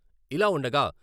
ఇలా ఉండగా...